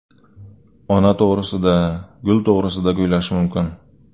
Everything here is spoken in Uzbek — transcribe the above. Ona to‘g‘risida, gul to‘g‘risida kuylash mumkin.